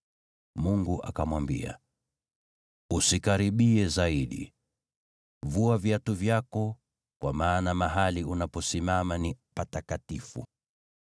Mungu akamwambia, “Usikaribie zaidi. Vua viatu vyako, kwa maana mahali unaposimama ni patakatifu.”